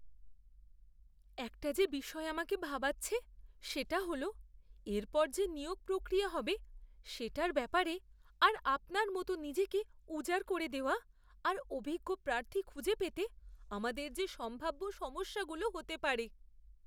একটা যে বিষয় আমাকে ভাবাচ্ছে সেটা হল এরপর যে নিয়োগ প্রক্রিয়া হবে সেটার ব্যাপারে আর আপনার মতো নিজেকে উজাড় করে দেওয়া আর অভিজ্ঞ প্রার্থী খুঁজে পেতে আমাদের যে সম্ভাব্য সমস্যাগুলো হতে পারে।